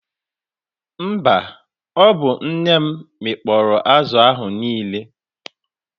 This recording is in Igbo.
Mba, ọ bụ nne m mịkpọrọ azụ ahụ niile.